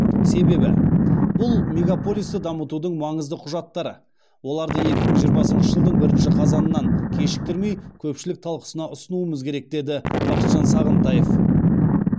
себебі бұл мегаполисті дамытудың маңызды құжаттары оларды екі мың жиырмасыншы жылдың бірінші қазанынан кешіктірмей көпшілік талқысына ұсынуымыз керек деді бақытжан сағынтаев